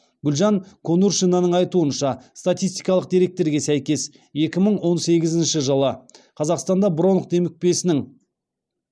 гүлжан конуршинаның айтуынша статистикалық деректерге сәйкес екі мың он сегізінші жылы қазақстанда бронх демікпесінің